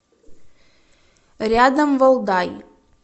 рядом валдай